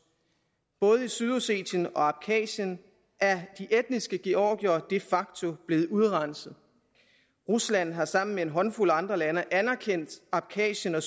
både i sydossetien og i abkhasien er de etniske georgiere de facto blevet udrenset rusland har sammen med en håndfuld andre lande anerkendt abkhasien og